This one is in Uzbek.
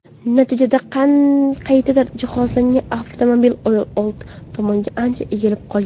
Natijada qayta jihozlangan avtomobil old tomonga ancha egilib qolgan.